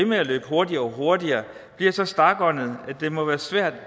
med at løbe hurtigere og hurtigere bliver så stakåndede at det må være svært